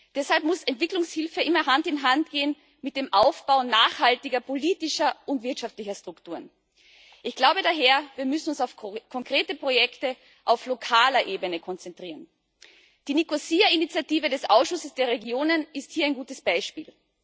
Deshalb muss Entwicklungshilfe immer Hand in Hand gehen mit dem Aufbau nachhaltiger politischer und wirtschaftlicher Strukturen. Ich glaube daher, dass wir uns auf konkrete Projekte auf lokaler Ebene konzentrieren müssen. Die Nicosia Initiative des Ausschusses der Regionen ist hier ein gutes Beispiel.